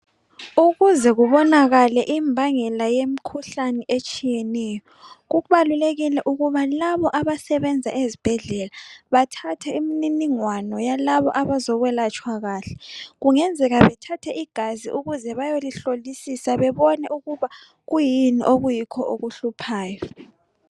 Ukuze kubonakale imbangela yemikhuhlane etshiyeneyo kubalulekile ukuthi labo abasebenza ezibhedlela bathathe imininingwano yalabo abazokwelatshwa. Kungenzeka bathathe igazi ukuze bayelihlolisisa bebona ukuba kuyini okuhluphayo